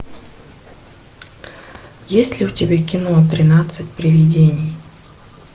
есть ли у тебя кино тринадцать привидений